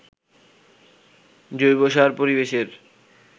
জৈবসার পরিবেশের